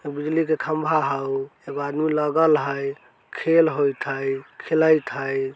हउ बिजली के खम्बा हउ एगो आदमी लागल हई खेल होत हइ खेलाइत हई।